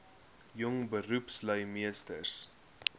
jong beroepslui meesters